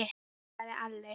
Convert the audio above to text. sagði Alli.